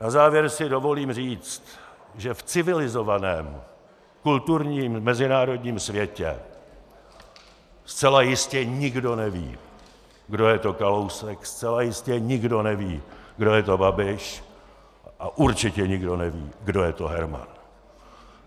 Na závěr si dovolím říct, že v civilizovaném kulturním mezinárodním světě zcela jistě nikdo neví, kdo je to Kalousek, zcela jistě nikdo neví, kdo je to Babiš, a určitě nikdo neví, kdo je to Herman.